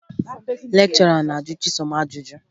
Lekchọra na-ajụ Chisom ajụjụ